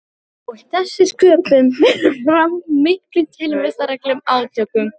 Og þessi sköpun fer fram í miklum tilvistarlegum átökum.